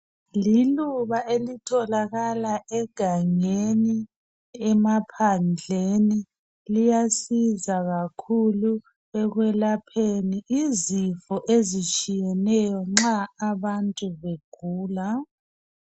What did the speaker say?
Liluba elitholakala egangeni emaphandleni. Liyasiza kakhulu ekwelapheni izifo ezitshiyeneyo nxa abantu begula